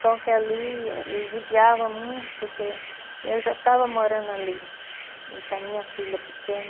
Só que ali ele judiava muito, porque eu já estava morando ali, e com a minha filha pequena.